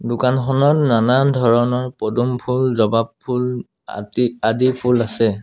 দোকানখনত নানান ধৰণৰ পদুম ফুল জবা ফুল আদি আদি ফুল আছে।